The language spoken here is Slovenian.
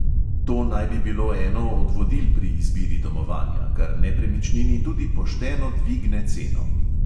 To naj bi bilo eno od vodil pri izbiri domovanja, kar nepremičnini tudi pošteno dvigne ceno.